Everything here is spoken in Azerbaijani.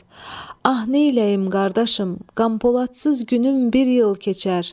İsmət, ah, neyləyim, qardaşım, qan poladsız günüm bir il keçər.